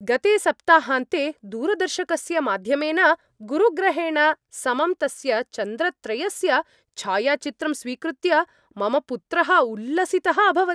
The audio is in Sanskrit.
गते सप्ताहान्ते दूरदर्शकस्य माध्यमेन गुरुग्रहेण समं तस्य चन्द्रत्रयस्य च्छायाचित्रं स्वीकृत्य मम पुत्रः उल्लसितः अभवत्।